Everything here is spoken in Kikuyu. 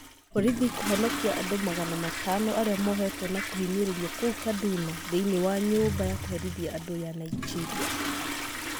Borithi kũhonokia andũ magana matano arĩa mohetwo na kũhinyĩrĩrio kũu Kaduna thĩiniĩ wa nyũmba ya kũherithia andũ ya Nigeria.